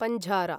पञ्झारा